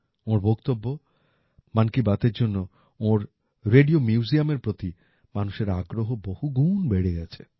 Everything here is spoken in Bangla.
ওঁর বক্তব্য মন কী বাতের জন্য ওঁর রেডিও Museumএর প্রতি মানুষের আগ্রহ বহুগুণ বেড়ে গেছে